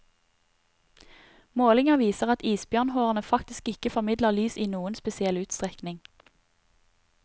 Målinger viser at isbjørnhårene faktisk ikke formidler lys i noen spesiell utstrekning.